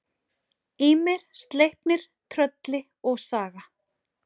Ýmir, Sleipnir, Trölli og Saga.